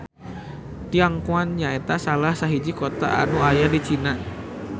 Tianquan nyaeta salah sahiji kota anu aya di Cina